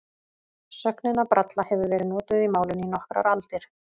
Sögnin að bralla hefur verið notuð í málinu í nokkrar aldir.